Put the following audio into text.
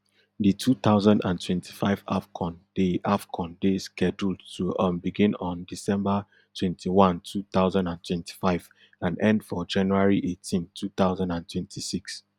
di two thousand and twenty-five afcon dey afcon dey scheduled to um begin on december twenty-one two thousand and twenty-five and end for january eighteen two thousand and twenty-six